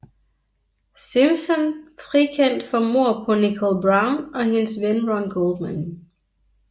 Simpson frikendt for mord på Nicole Brown og hendes ven Ron Goldman